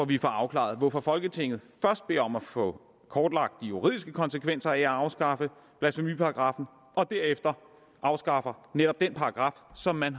vi får afklaret hvorfor folketinget først beder om at få kortlagt de juridiske konsekvenser af at afskaffe blasfemiparagraffen og derefter afskaffer netop den paragraf som man